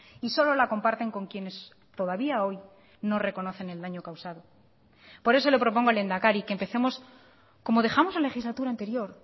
y solo la comparten con quienes todavía hoy no reconocen el daño causado por eso le propongo lehendakari que empecemos como dejamos la legislatura anterior